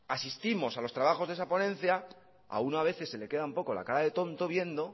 asistimos a los trabajos de esa ponencia a uno a veces se le queda un poco la cara de tonto viendo